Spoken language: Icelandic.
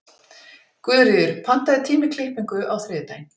Guðríður, pantaðu tíma í klippingu á þriðjudaginn.